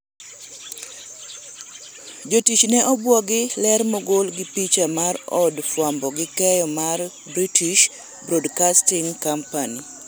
jotich ne obuogi, ler mogol gi picha mar od fwambo gi keyo mar British broadcasting company